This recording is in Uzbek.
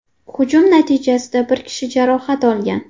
Hujum natijasida bir kishi jarohat olgan.